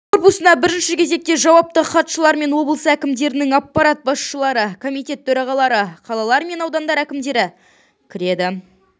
корпусына бірінші кезекте жауапты хатшылар мен облыс әкімдерінің аппарат басшылары комитет төрағалары қалалар мен аудандар әкімдері кіреді